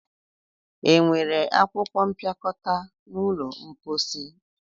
Enwere akwụkwọ mpịakọta n'ụlọ mposi?